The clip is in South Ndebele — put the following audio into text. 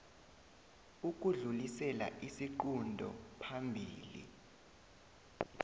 ukudlulisela isiqunto phambili